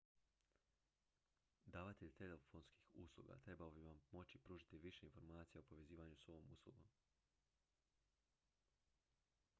davatelj telefonskih usluga trebao bi vam moći pružiti više informacija o povezivanju s ovom uslugom